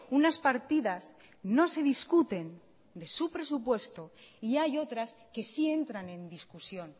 unas partidas no se discuten de su presupuesto y hay otras que sí entran en discusión